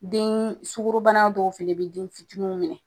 Den sugɔrobana dɔw fɛnɛ bi denfitiniw minɛ